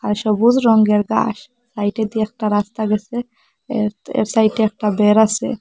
আর সবুজ রঙ্গের গাস সাইটে দিয়ে একটা রাস্তা গেসে এর এর সাইটে একটা দের আসে।